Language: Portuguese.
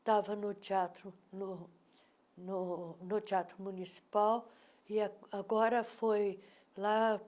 Estava no Teatro no no teatro Municipal e agora foi lá.